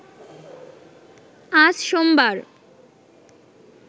আজ সোমবার